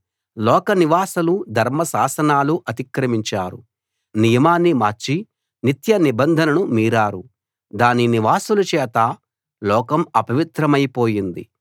లోక నివాసులు ధర్మ శాసనాలు అతిక్రమించారు నియమాన్ని మార్చి నిత్య నిబంధనను మీరారు దాని నివాసుల చేత లోకం అపవిత్రమైపోయింది